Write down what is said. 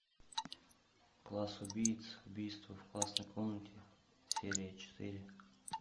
класс убийц убийство в классной комнате серия четыре